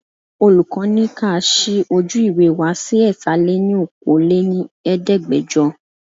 Olùkọ́ ni ka ṣí ojú ìwé wá sí Ẹ̀ta lè ní Okòó lé ní Ẹ̀ẹ́dẹ́gbẹjọ.